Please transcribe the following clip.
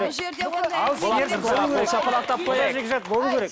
бұл жерде ондай қол шапалақтап қояйық жора жекжат болу керек